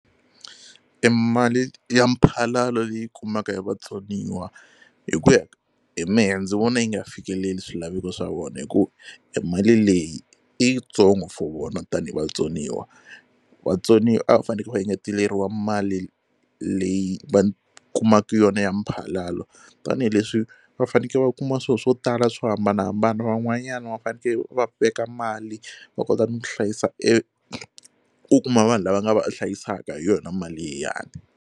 E mali ya mphalalo leyi kumaka hi vatsoniwa hi ku ya hi mehe ndzi vona yi nga fikeleli swilaveko swa vona hi ku e mali leyi i yitsongo for vona tanihi vatsoniwa. Vatsoniwa a va faneke va engeteleriwa mali leyi va kumaka yona ya mphalalo tanihileswi va faneke va kuma swilo swo tala swo hambanahambana van'wanyana va faneke va veka mali va kota no tihlayisa eku kuma vanhu lava nga va hlayisaka hi yona mali liyani.